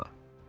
Anna.